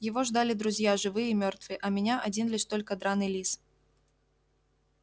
его ждали друзья живые и мёртвые а меня один лишь только драный лис